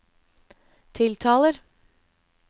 tiltaler